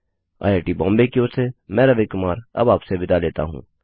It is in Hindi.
आईआई टी बॉम्बे की ओर से मैं रवि कुमार अब आपसे विदा लेता हूँ